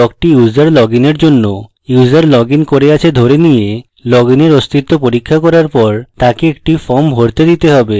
এই ব্লকটি user login এর জন্য user লগইন করে আছে ধরে নিয়ে login এর অস্তিত্ব পরীক্ষা করার পর তাকে একটি form ভরতে দিতে হবে